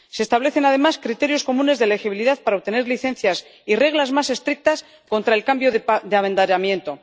Se establecen además criterios comunes de legibilidad para obtener licencias y reglas más estrictas contra el cambio de abanderamiento.